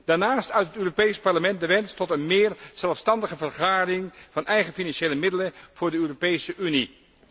Daarnaast uit het Europees Parlement de wens tot een meer zelfstandige vergaring van eigen financiële middelen voor de Europese Unie.